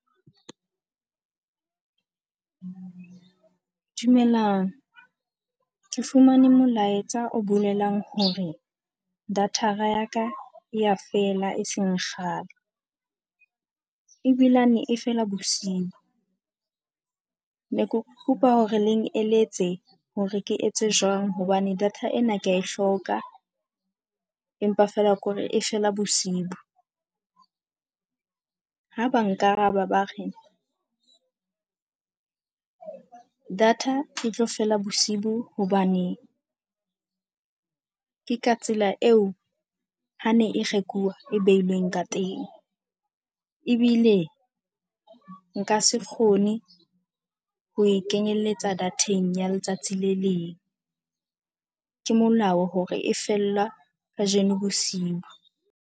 Dumelang. Ke fumane molaetsa o bolelang hore data ya ka e a fela eseng kgale. Ebilane e fela bosiu. Ne ke kopa hore le eletse hore ke etse jwang hobane data ena ke a e hloka, empa fela ke hore e fela bosiu. Ha ba nkaraba ba re data e tlo fela bosiu hobane ke ka tsela eo ha ne e rekuwa e beilweng ka teng. Ebile nka se kgone ho e kenyelletsa data-ng ya letsatsi le leng. Ke molao hore e fella kajeno bosiu.